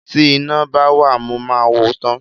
Tí iná bá wà mo máa wò ó tán.